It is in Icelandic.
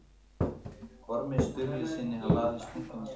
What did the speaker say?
Ormi Sturlusyni vafðist tunga um tönn.